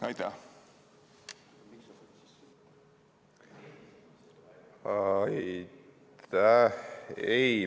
Aitäh!